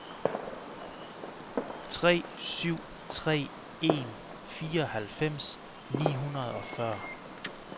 tre syv tre en fireoghalvfems ni hundrede og fyrre